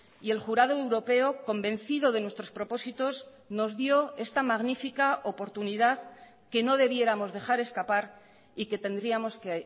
y el jurado europeo convencido de nuestros propósitos nos dio esta magnífica oportunidad que no debiéramos dejar escapar y que tendríamos que